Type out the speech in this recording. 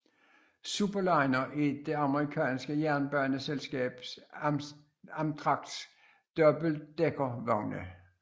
Superliner er det amerikanske jernbaneselskab Amtraks dobbeltdækkervogne